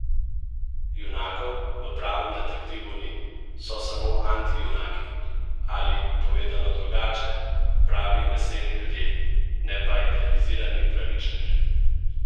Junakov v Pravem detektivu ni, so samo antijunaki ali, povedano drugače, pravi meseni ljudje, ne pa idealizirani pravičneži.